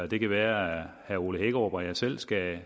det kan være at herre ole hækkerup og jeg selv skal